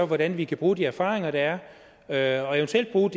hvordan vi kan bruge de erfaringer der er er og eventuelt bruge